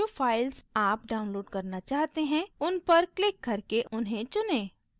जो files आप download करना चाहते हैं उन पर क्लिक करके उन्हें चुनें